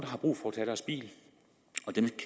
har brug for at tage deres bil og dem